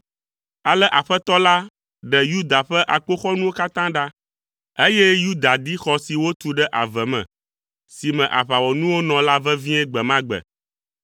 Ale Aƒetɔ la ɖe Yuda ƒe akpoxɔnuwo katã ɖa, eye Yuda di xɔ si wotu ɖe ave me, si me aʋawɔnuwo nɔ la vevie gbe ma gbe.